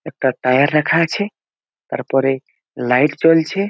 একটা টায়ার রাখা আছে তারপরে লাইট জ্বলছে ।